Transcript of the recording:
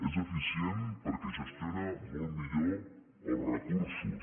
és eficient perquè gestiona molt millor els recursos